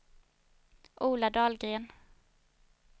Ola Dahlgren